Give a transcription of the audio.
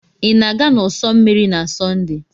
Ị na-aga n'ụsọ osimiri na Sọnde?